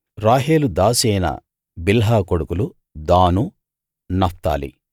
రాహేలు దాసి అయిన బిల్హా కొడుకులు దాను నఫ్తాలి